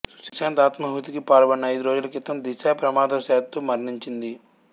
సుశాంత్ ఆత్మాహుతికి పాల్పడిన ఐదు రోజుల క్రితం దిశా ప్రమాదవశాత్తు మరణించింది